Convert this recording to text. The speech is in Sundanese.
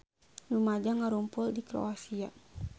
Rumaja ngarumpul di Kroasia